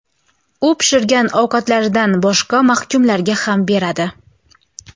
U pishirgan ovqatlaridan boshqa mahkumlarga ham beradi.